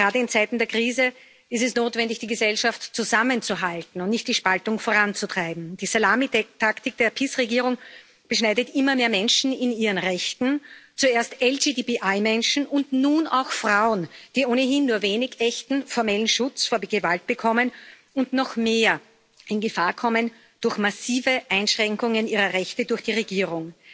Gerade in Zeiten der Krise ist es notwendig, die Gesellschaft zusammenzuhalten und nicht die Spaltung voranzutreiben. Die Salami Taktik der PIS Regierung beschneidet immer mehr Menschen in ihren Rechten zuerst LGTBI Menschen und nun auch Frauen, die ohnehin nur wenig echten formellen Schutz vor Gewalt bekommen und noch mehr in Gefahr kommen, durch massive Einschränkungen ihrer Rechte durch die Regierung.